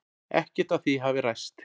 Ekkert af því hafi ræst.